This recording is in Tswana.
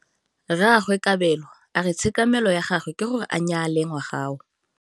Rragwe Kabelo a re tshekamêlô ya gagwe ke gore a nyale ngwaga o.